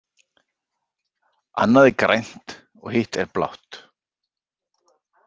Annað er grænt og hitt er blátt.